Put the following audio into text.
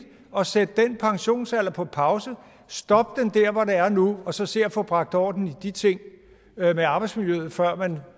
at sætte den pensionsalder på pause stoppe den dér hvor den er nu og så se at få bragt orden i de ting med arbejdsmiljøet før man